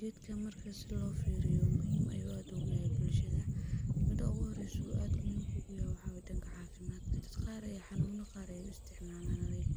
Gedkan marki i lofiriyo muhim ayuu ad uguleyahay bulshada. Midka uguhireyso ad muhimka ugu yoho waxaa waye danka cafimadka, dadka qar ayaa xanunyo qar u isticmalana like